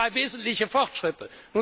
Das sind drei wesentliche Fortschritte.